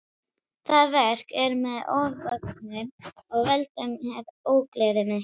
Það verk er mér ofvaxið og veldur mér ógleði mikilli.